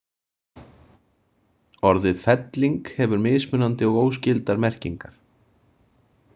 Orðið felling hefur mismunandi og óskyldar merkingar.